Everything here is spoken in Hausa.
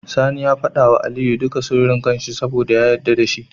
Sani ya fada wa Aliyu duka sirri kan shi saboda ya yadda dashi